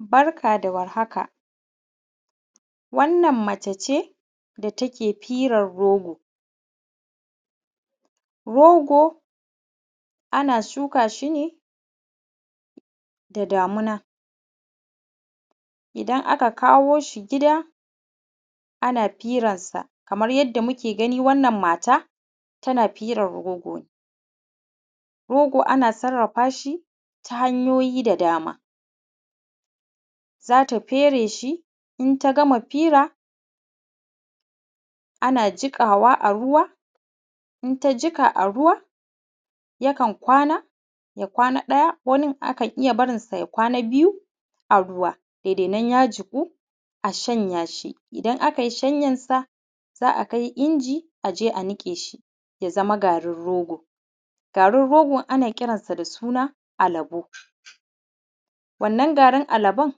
Barka da warhaka wannan mace ce da take firan rogo. Rogo ana shuka shi ne da damuna, idan aka kawo shi gida ana fira nsa kaman yadda muke gani, Wannan matan tana firan rogo ne. Rogo ana sarrafa shi ta hanyoyi da dama, za ta fere shi, in ta gama fira, ana jiƙawa a ruwa, in ta jiƙa a ruwa, yakan kwana ya kwana ɗaya, wani akan barinsa ya kwana biyu a ruwa kenan ya jiƙu a shanya shi. Idan aka yi shanya sa za a kai inji a je a niƙe shi ya zama garin rogo. Garin rogo ana kiransa da suna alabo. Wannan garin alabon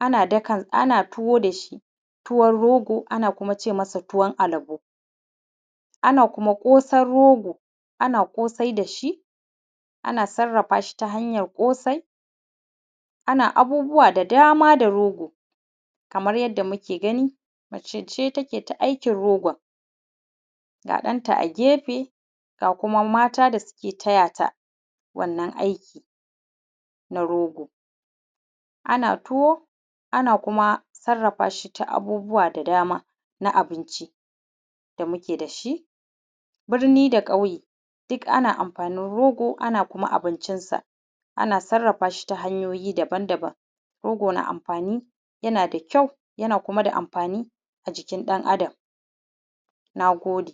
ana tuwo da shi tuwon rogo, ana kuma ce masa tuwon alabo, ana kuma ƙosan rogo ana ƙosai da shi ana sarrafa shi ta hanya ƙosai, ana abubuwa da dama da rogo. Kaman yadda muke gani mace ce take ta aikin rogon, ga ɗanta a gefe ga kuma mata da suke taya ta wannan aiki na rogo. Ana tuwo, ana kuma sarrafa shi ta abubuwa da dama na abinci da muke da shi birni da ƙauye duka ana am amfanin rogo, ana kuma abincinsa, ana sarrafa shi ta hanyoyi daban daban. rogo na da amfani, yana da kyau, yana kuma da amfani a jikin ɗan Adam. Nagode.